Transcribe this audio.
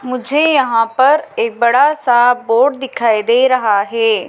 मुझे यहां पर एक बड़ा सा बोर्ड दिखाई दे रहा है।